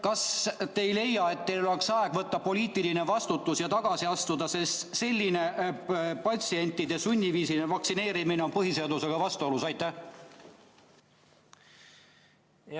Kas te ei leia, et teil oleks aeg võtta poliitiline vastutus ja tagasi astuda, sest patsientide sunniviisiline vaktsineerimine on põhiseadusega vastuolus?